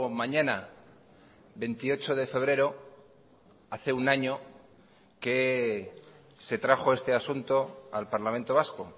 mañana veintiocho de febrero hace un año que se trajo este asunto al parlamento vasco